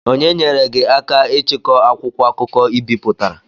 Onye nyeere gị aka ichikọ akwụkwọ akụkọ I bipụtara?